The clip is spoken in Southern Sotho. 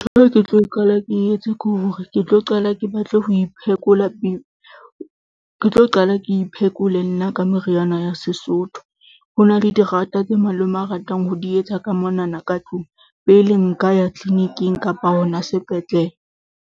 ke hore ke tlo qala ke iphekole nna ka meriana ya Sesotho. Ho na le diranta tse malome a ratang ho di etsa ka monana ka tlung, pele nka ya clinic-ing kapa hona sepetlele.